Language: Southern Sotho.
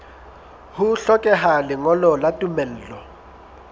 ho hlokeha lengolo la tumello